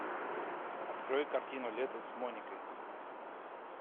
открой картину лето с моникой